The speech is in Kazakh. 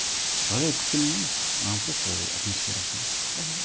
ғажайып күткеннен емес маған просто ол атмосферасы ұнайды мхм